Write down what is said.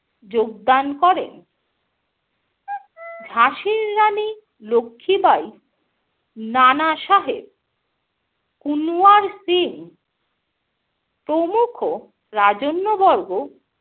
যোগদান করেন। ঝাঁসির রানী লক্ষ্মীবাঈ, নানাসাহেব, কুনওয়ার সিং প্রমুখ রাজন্যবর্গ,